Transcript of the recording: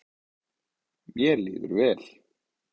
Mér líður vel